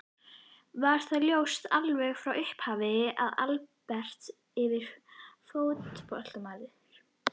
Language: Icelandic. Var það ljóst alveg frá upphafi að Albert yrði fótboltamaður?